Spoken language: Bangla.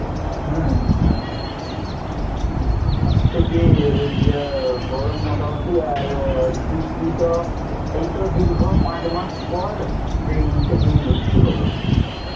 হ্যাঁ হ্যাঁ হ্যাঁ আজ থেকে যা গরম মোটামুটি আর বৃষ্টিটা এই তো দীর্ঘ পাঁচ মাস পর এই সেদিনই বৃষ্টি হোল